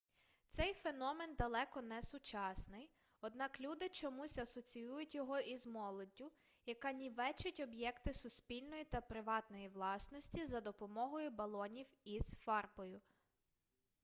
цей феномен далеко не сучасний однак люди чомусь асоціюють його із молоддю яка нівечить об'єкти суспільної та приватної власності за допомогою балонів із фарбою